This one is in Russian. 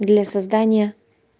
для создания